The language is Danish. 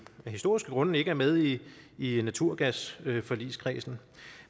af historiske grunde ikke er med i i naturgasforligskredsen